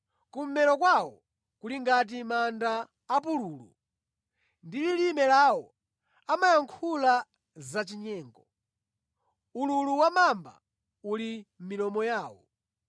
“Kummero kwawo kuli ngati manda apululu; ndi lilime lawo amayankhula zachinyengo.” “Ululu wa mamba uli pa milomo yawo.”